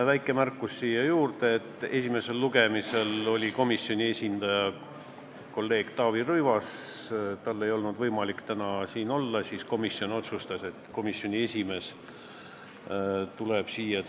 Väike märkus siia juurde, et esimesel lugemisel oli komisjoni esindaja kolleeg Taavi Rõivas, aga kuna tal ei olnud võimalik täna siin olla, siis komisjon otsustas, et komisjoni esimees tuleb teie ette.